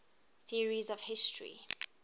theories of history